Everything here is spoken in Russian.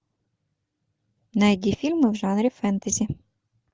найди фильмы в жанре фэнтези